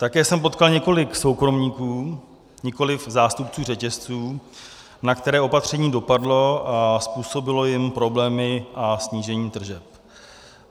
Také jsem potkal několik soukromníků, nikoliv zástupců řetězců, na které opatření dopadlo a způsobilo jim problémy a snížení tržeb.